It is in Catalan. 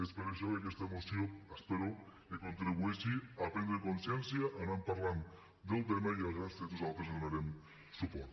és per això que aquesta moció espero que contribueixi a prendre consciència a anar parlant del tema i a grans trets nosaltres hi donarem suport